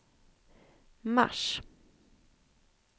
mars